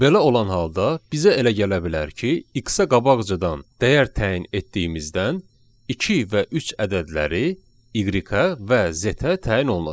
Belə olan halda bizə elə gələ bilər ki, X-ə qabaqcadan dəyər təyin etdiyimizdən iki və üç ədədləri Y-ə və Z-ə təyin olunacaq.